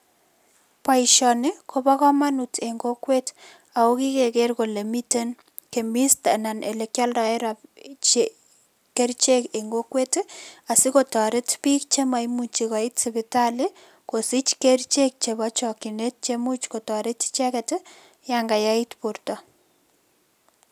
Boishoni kobo komunut en kokwet ako kikeker kole miten chemist anan olekyoldoen kerchek en kokwet asikotoret piik chemoimuchi koit sipitali kosich kerichek chepo chokyinet chemuch kotoret icheget yan kayait borto.